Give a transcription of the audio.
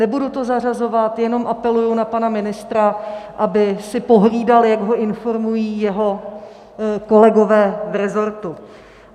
Nebudu to zařazovat, jenom apeluji na pana ministra, aby si pohlídal, jak ho informují jeho kolegové v resortu.